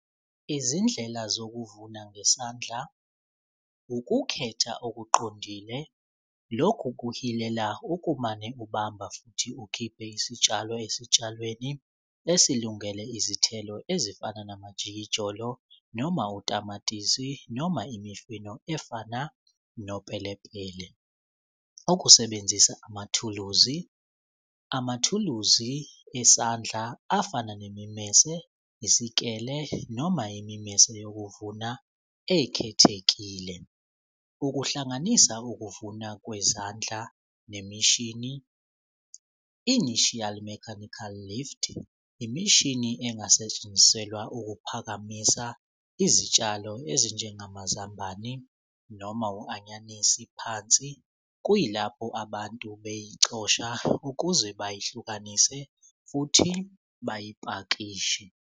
Izindlela zokuvuna ngesandla, ukukhetha okuqondile lokhu kuhilela ukumane ubamba futhi ukhiphe isitshalo esitshalweni esilungele izithelo ezifana namajikijolo noma utamatisi noma imifino efana nopelepele. Ukusebenzisa amathuluzi, amathuluzi esandla afana nemimese, isikele noma yimimese yokuvuna ekhethekile. Ukuhlanganisa ukuvuna kwezandla nemishini initial mechanical lift imishini engasetshenziselwa ukuphakamisa izitshalo ezinjengamazambane noma u-anyanisi phansi kuyilapho abantu beyicosha ukuze bayihlukanise futhi bayipakishe.